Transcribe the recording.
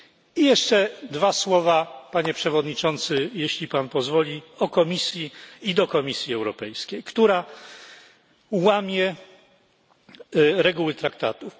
I jeszcze dwa słowa Panie Przewodniczący, jeśli pan pozwoli, o Komisji i do Komisji Europejskiej, która łamie reguły traktatów.